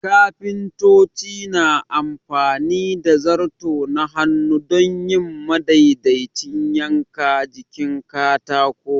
Kafintoci na amfani da zarto na hannu don yin madaidaicin yanka jikin katako.